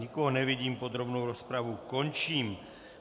Nikoho nevidím, podrobnou rozpravu končím.